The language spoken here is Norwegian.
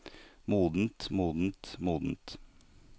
modent modent modent